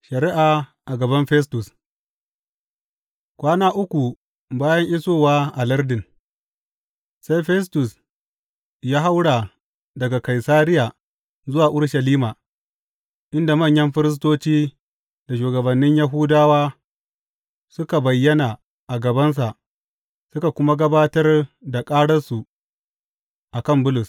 Shari’a a gaban Festus Kwana uku bayan isowa a lardin, sai Festus ya haura daga Kaisariya zuwa Urushalima, inda manyan firistoci da shugabannin Yahudawa suka bayyana a gabansa suka kuma gabatar da ƙararsu a kan Bulus.